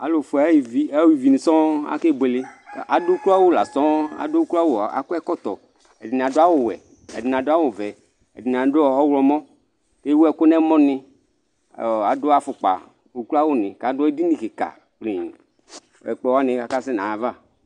ɑlụfuɛ ɑyɛviṅisɔ̀oo ɑkébụɛlé ɑd ụklọɑwụ lɑsɔoo ɑkɔɛtọtõ ɛɗiɲiɑdụɑwụwẽ ɛɗiniɑ ɗụɑwũ ɔvẽ ɛɗiṅiạdụ ɔhlomɔ kéwụɛku ɲẽmõṅi ɑɗụɑfũkpɑ ωklọɑwụɲi kɑɗụɛɗiɲikikɑɗii ɛkplɔwɑɲi ɑkɑsɛ ɲɑyɑvɑ